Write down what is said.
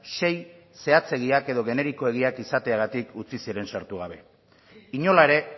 sei zehatzegiak edo generikoegiak izateagatik utzi ziren sartu gabe inola ere